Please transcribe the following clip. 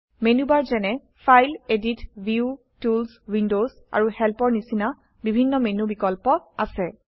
menu bar যেনে file edit view tools windows আৰু help এৰ নিচিনা বিভিন্ন মেনু বিকল্প আছে